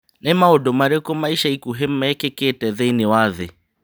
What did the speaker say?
Nĩ maũndũ marĩkũ ma ica ikuhĩ mekĩkĩte thĩinĩ wa thĩ